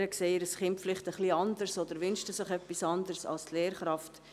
Die Eltern sehen ihr Kind etwas anders oder wünschten sich etwas anderes als die Lehrkraft.